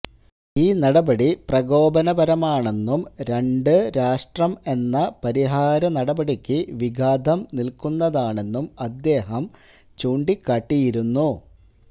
ഈ നടപടി പ്രകോപനപരമാണെന്നും രണ്ട് രാഷ്ട്രം എന്ന പരിഹാരനടപടിക്ക് വിഘാതം നില്ക്കുന്നതാണെന്നും അദ്ദേഹം ചൂണ്ടിക്കാട്ടിയിരുന്നു